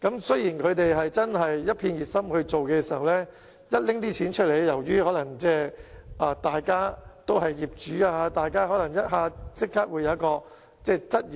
雖然他們確是十分熱心，但當談到用錢的時候，由於大家都是業主，可能立即提出質疑。